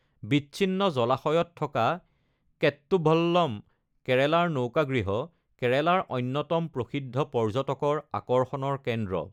বিচ্ছিন্ন জলাশয়ত থকা কেট্টুভল্লম (কেৰালাৰ নৌকাগৃহ) কেৰালাৰ অন্যতম প্ৰসিদ্ধ পৰ্যটকৰ আকৰ্ষণৰ কেন্দ্ৰ।